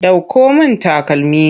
Ɗauko min takalmi!